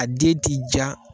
A den ti ja